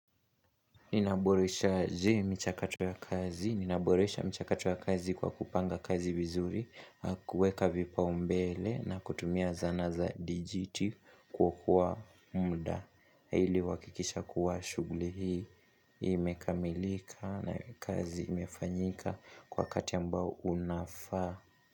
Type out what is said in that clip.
Ninaboreshaje michakato ya kazi, ninaboresha michakato ya kazi kwa kupanga kazi vizuri, kuweka vipaombele na kutumia zana za dijiti kuokoa muda. Ili kuhakikisha kuwa shughuli hii, imekamilika na kazi imefanyika kwa wakati ambao unafaa.